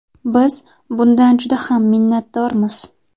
Biz bundan juda ham minnatdormiz.